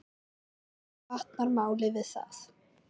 Ekki batnar málið við það.